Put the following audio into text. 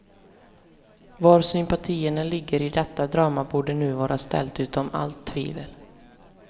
Var sympatierna ligger i detta drama borde nu var ställt utom all tvivel.